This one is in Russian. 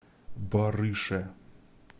барыше